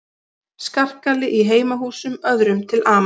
Skarkali í heimahúsum öðrum til ama